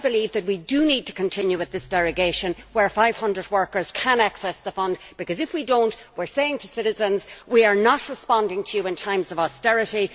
I believe that we do need to continue with this derogation, where 500 workers can access the fund because, if we do not, then we are saying to citizens we are not responding to your in times of austerity.